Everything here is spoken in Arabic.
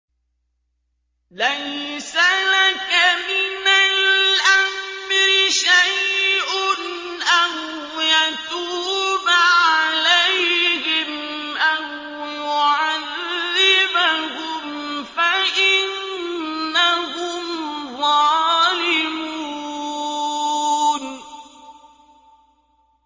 لَيْسَ لَكَ مِنَ الْأَمْرِ شَيْءٌ أَوْ يَتُوبَ عَلَيْهِمْ أَوْ يُعَذِّبَهُمْ فَإِنَّهُمْ ظَالِمُونَ